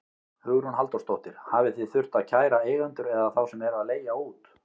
Hugrún Halldórsdóttir: Hafið þið þurft að kæra eigendur eða þá sem eru að leigja út?